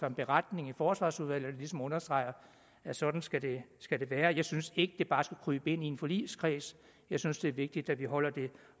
en beretning i forsvarsudvalget der ligesom understreger at sådan skal det skal det være jeg synes ikke at det bare skal krybe ind i en forligskreds jeg synes det er vigtigt at vi holder det